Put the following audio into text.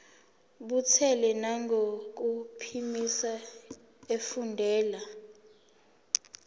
buthule nangokuphimisa efundela